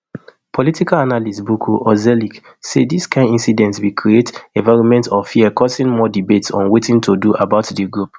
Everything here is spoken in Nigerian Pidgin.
political analyst burcu ozcelik say dis kain incidents bin create environment of fear causing more debates on wetin to do about di group